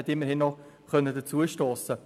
Immerhin konnte er noch dazustossen.